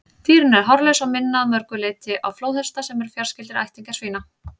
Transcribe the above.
Dýrin eru hárlaus og minna að mörgu leyti á flóðhesta, sem eru fjarskyldir ættingjar svína.